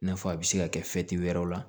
I n'a fɔ a bɛ se ka kɛ wɛrɛw la